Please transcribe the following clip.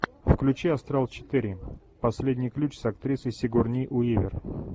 включи астрал четыре последний ключ с актрисой сигурни уивер